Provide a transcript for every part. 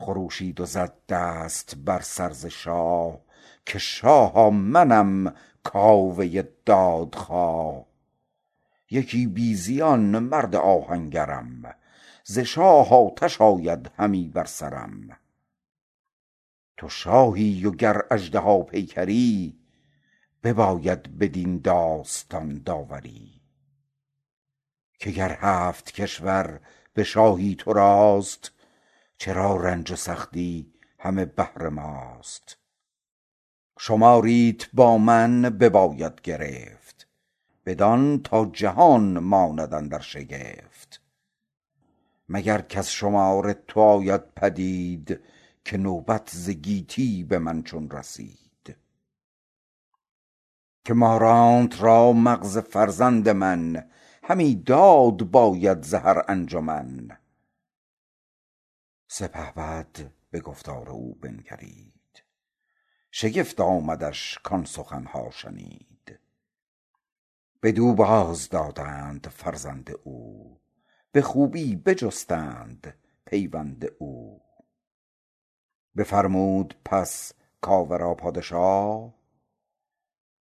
خروشید و زد دست بر سر ز شاه که شاها منم کاوه دادخواه یکی بی زیان مرد آهنگرم ز شاه آتش آید همی بر سرم تو شاهی و گر اژدها پیکری بباید بدین داستان داوری که گر هفت کشور به شاهی تو راست چرا رنج و سختی همه بهر ماست شماریت با من بباید گرفت بدان تا جهان ماند اندر شگفت مگر کز شمار تو آید پدید که نوبت ز گیتی به من چون رسید که مارانت را مغز فرزند من همی داد باید ز هر انجمن سپهبد به گفتار او بنگرید شگفت آمدش کآن سخن ها شنید بدو باز دادند فرزند او به خوبی بجستند پیوند او بفرمود پس کاوه را پادشا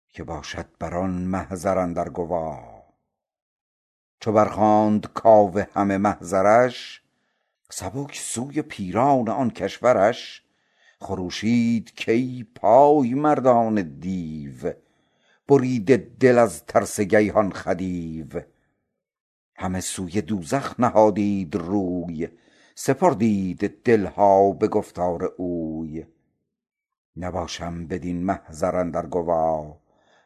که باشد بران محضر اندر گوا چو بر خواند کاوه همه محضرش سبک سوی پیران آن کشورش خروشید کای پای مردان دیو بریده دل از ترس گیهان خدیو همه سوی دوزخ نهادید روی سپردید دل ها به گفتار اوی نباشم بدین محضر اندر گوا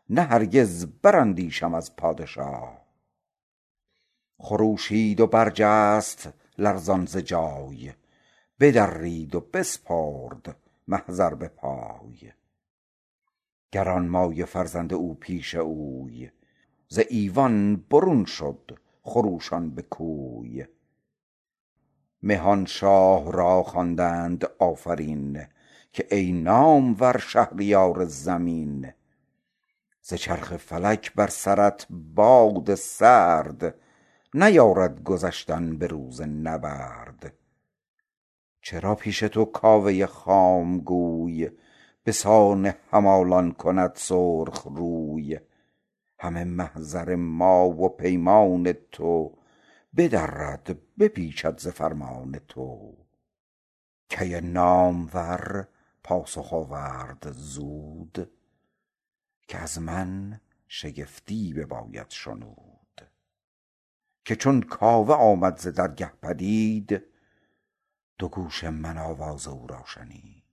نه هرگز براندیشم از پادشا خروشید و برجست لرزان ز جای بدرید و بسپرد محضر به پای گرانمایه فرزند او پیش اوی ز ایوان برون شد خروشان به کوی مهان شاه را خواندند آفرین که ای نامور شهریار زمین ز چرخ فلک بر سرت باد سرد نیارد گذشتن به روز نبرد چرا پیش تو کاوه خام گوی به سان همالان کند سرخ روی همه محضر ما و پیمان تو بدرد بپیچد ز فرمان تو کی نامور پاسخ آورد زود که از من شگفتی بباید شنود که چون کاوه آمد ز درگه پدید دو گوش من آواز او را شنید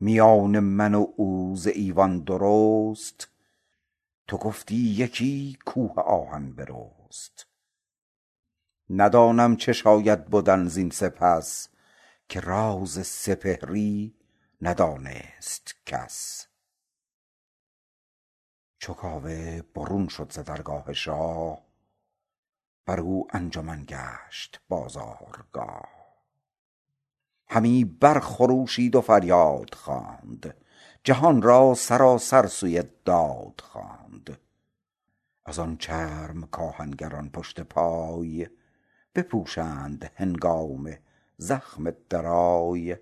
میان من و او ز ایوان درست تو گفتی یکی کوه آهن برست ندانم چه شاید بدن زین سپس که راز سپهری ندانست کس چو کاوه برون شد ز درگاه شاه برو انجمن گشت بازارگاه همی بر خروشید و فریاد خواند جهان را سراسر سوی داد خواند از آن چرم کآهنگران پشت پای بپوشند هنگام زخم درای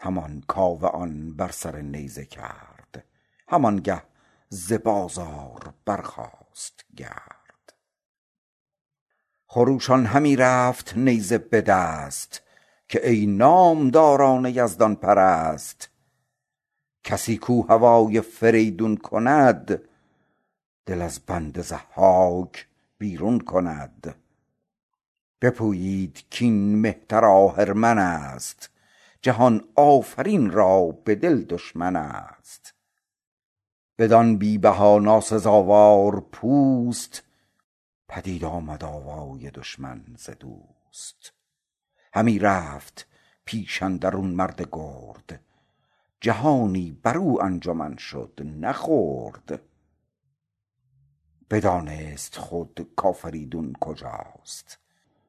همان کاوه آن بر سر نیزه کرد همان گه ز بازار برخاست گرد خروشان همی رفت نیزه به دست که ای نامداران یزدان پرست کسی کاو هوای فریدون کند دل از بند ضحاک بیرون کند بپویید کاین مهتر آهرمن است جهان آفرین را به دل دشمن است بدان بی بها ناسزاوار پوست پدید آمد آوای دشمن ز دوست همی رفت پیش اندرون مرد گرد جهانی برو انجمن شد نه خرد بدانست خود کافریدون کجاست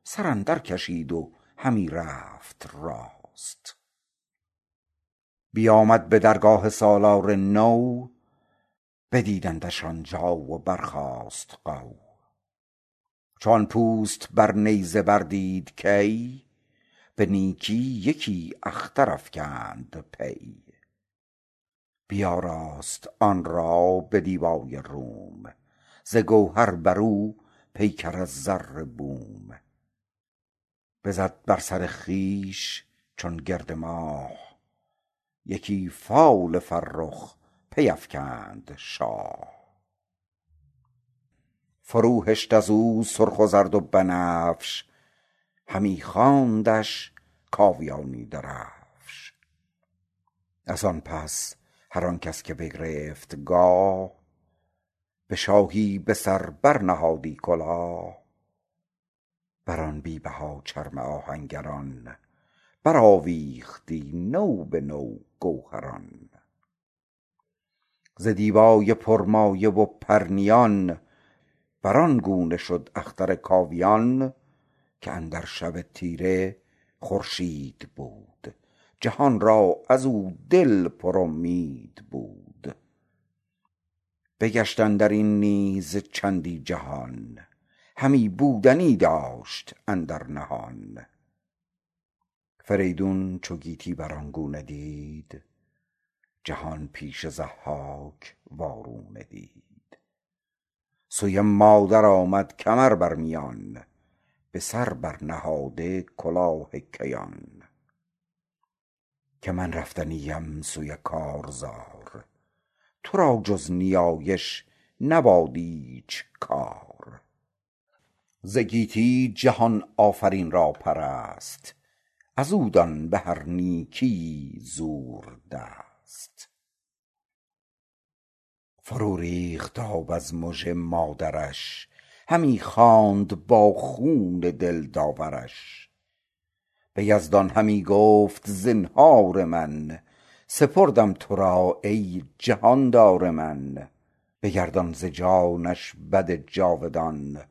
سر اندر کشید و همی رفت راست بیامد به درگاه سالار نو بدیدندش آن جا و برخاست غو چو آن پوست بر نیزه بر دید کی به نیکی یکی اختر افگند پی بیاراست آن را به دیبای روم ز گوهر بر و پیکر از زر بوم بزد بر سر خویش چون گرد ماه یکی فال فرخ پی افکند شاه فرو هشت ازو سرخ و زرد و بنفش همی خواندش کاویانی درفش از آن پس هر آن کس که بگرفت گاه به شاهی به سر بر نهادی کلاه بر آن بی بها چرم آهنگران برآویختی نو به نو گوهران ز دیبای پرمایه و پرنیان بر آن گونه شد اختر کاویان که اندر شب تیره خورشید بود جهان را ازو دل پر امید بود بگشت اندرین نیز چندی جهان همی بودنی داشت اندر نهان فریدون چو گیتی بر آن گونه دید جهان پیش ضحاک وارونه دید سوی مادر آمد کمر بر میان به سر بر نهاده کلاه کیان که من رفتنی ام سوی کارزار تو را جز نیایش مباد ایچ کار ز گیتی جهان آفرین را پرست ازو دان بهر نیکی زور دست فرو ریخت آب از مژه مادرش همی خواند با خون دل داورش به یزدان همی گفت زنهار من سپردم تو را ای جهاندار من بگردان ز جانش بد جاودان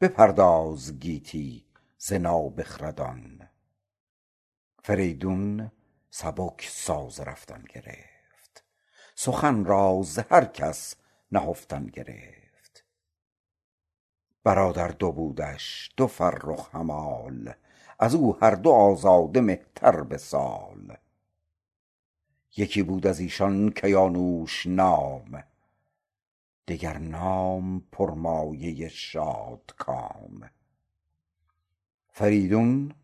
بپرداز گیتی ز نابخردان فریدون سبک ساز رفتن گرفت سخن را ز هر کس نهفتن گرفت برادر دو بودش دو فرخ همال ازو هر دو آزاده مهتر به سال یکی بود ازیشان کیانوش نام دگر نام پرمایه شادکام فریدون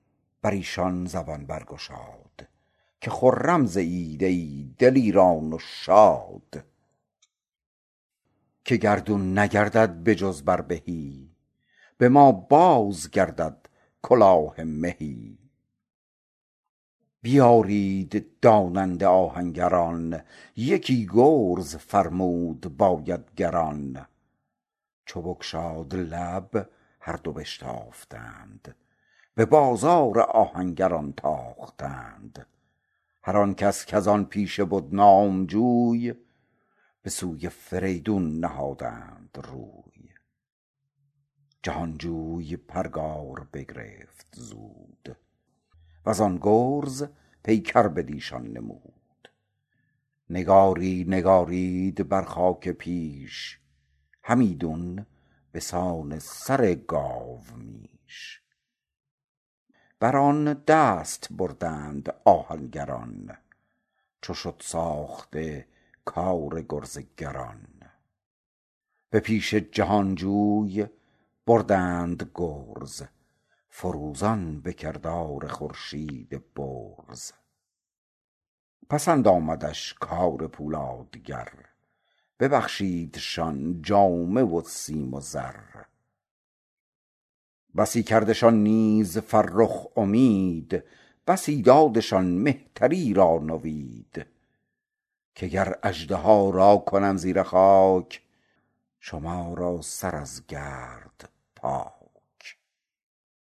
بریشان زبان برگشاد که خرم زیید ای دلیران و شاد که گردون نگردد به جز بر بهی به ما بازگردد کلاه مهی بیارید داننده آهنگران یکی گرز فرمود باید گران چو بگشاد لب هر دو بشتافتند به بازار آهنگران تاختند هر آن کس کز آن پیشه بد نام جوی به سوی فریدون نهادند روی جهان جوی پرگار بگرفت زود وزان گرز پیکر بٕدیشان نمود نگاری نگارید بر خاک پیش همیدون به سان سر گاومیش بر آن دست بردند آهنگران چو شد ساخته کار گرز گران به پیش جهان جوی بردند گرز فروزان به کردار خورشید برز پسند آمدش کار پولادگر ببخشیدشان جامه و سیم و زر بسی کردشان نیز فرخ امید بسی دادشان مهتری را نوید که گر اژدها را کنم زیر خاک بشویم شما را سر از گرد پاک